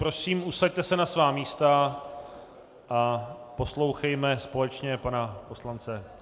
Prosím, usaďte se na svá místa a poslouchejme společně pana poslance.